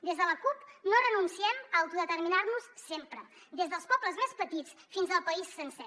des de la cup no renunciem a autodeterminar nos sempre des dels pobles més petits fins al país sencer